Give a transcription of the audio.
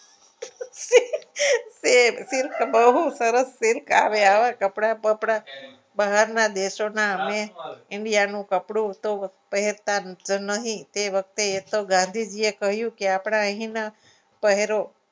કે silk બહુ સરસ silk આવે આવા કપડા બપડા બહારના દેશોના અને india નું કપડું તો કરતા જ નહીં તે વખતે એ તો ગાંધીજીએ કહ્યું કે આપણા અહીંના પહેરો